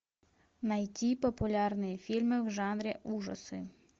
найти популярные фильмы в жанре ужасы